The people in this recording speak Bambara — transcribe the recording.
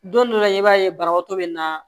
Don dɔ la i b'a ye banabaatɔ bɛ na